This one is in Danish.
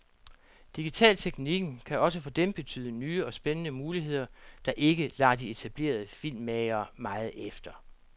Digitalteknikken kan også for dem betyde nye og spændende muligheder, der ikke lader de etablerede filmmagere meget efter.